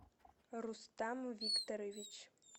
рустам викторович